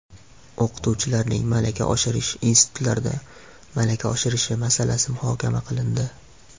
O‘qituvchilarning malaka oshirish institutlarida malaka oshirishi masalasi muhokama qilindi.